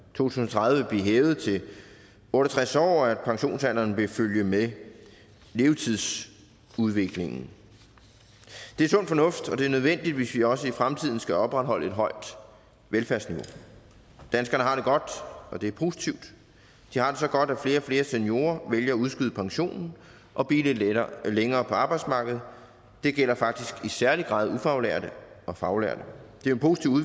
tusind og tredive vil blive hævet til otte og tres år og at pensionsalderen vil følge med levetidsudviklingen det er sund fornuft og det er nødvendigt hvis vi også i fremtiden skal opretholde et højt velfærdsniveau danskerne har det godt og det er positivt de har det så godt at flere og flere seniorer vælger at udskyde pensionen og blive lidt længere på arbejdsmarkedet det gælder faktisk i særlig grad ufaglærte og faglærte